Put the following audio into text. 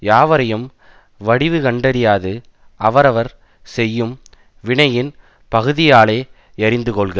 யாவரையும் வடிவுகண்டறியாது அவரவர் செய்யும் வினையின் பகுதியாலே யறிந்துகொள்க